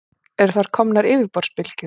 Eru þar komnar yfirborðsbylgjur.